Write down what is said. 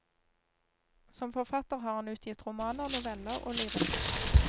Som forfatter har han utgitt romaner, noveller og lyrikk.